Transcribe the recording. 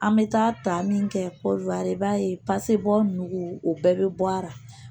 An bɛ taa ta min kɛ i b'a ye nugu o bɛɛ bɛ bɔ a la